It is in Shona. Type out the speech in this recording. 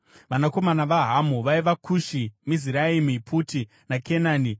Vanakomana vaHamu vaiva: Kushi, Miziraimi, Puti naKenani.